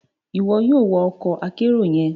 Iwọ yoo wa ọkọ akero yẹn!